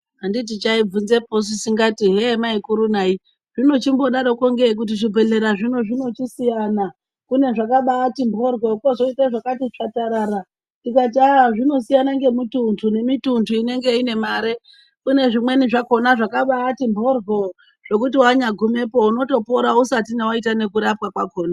Anditi chaibvunzeposu chichiti maikuru nayi zvinochimbodarokongeyi kuti zvibhehlera zvino zvinochisiyana kune zvakabati mhoryo kwozoite zvakati tsvatarara ndikati ah zvinosiyane ngemintuntu nemintuntu inenge ine mare kune zvimweni zvakona zvakabati mhoryo zvekuti wanyagumepo unotopora usati waita nekurapwa kwakona.